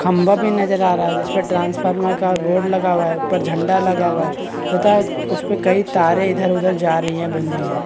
खंबा भी नजर आ रहा है जिस पर ट्रांसफार्मर का बोर्ड लगा हुआ है ऊपर झंडा लगा हुआ है पता है उस पर कई तारे इधर उधर जा रही है बंधी है।